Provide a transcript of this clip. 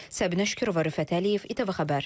Səbinə Şükürova, Rüfət Əliyev, ATV Xəbər.